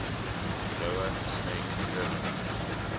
lower snake river